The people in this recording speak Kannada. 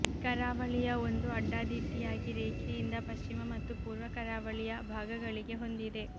ಕರಾವಳಿಯ ಒಂದು ಅಡ್ಡಾದಿಡ್ಡಿಯಾಗಿ ರೇಖೆಯಿಂದ ಪಶ್ಚಿಮ ಮತ್ತು ಪೂರ್ವ ಕರಾವಳಿಯ ಭಾಗಗಳಿಗೆ ಹೊಂದಿದೆ